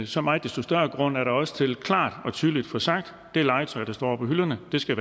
så meget desto større grund er der også til klart og tydeligt at få sagt det legetøj der står på hylderne skal